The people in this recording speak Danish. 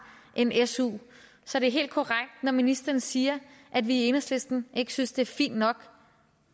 en su så det er helt korrekt når ministeren siger at vi i enhedslisten ikke synes at det er fint nok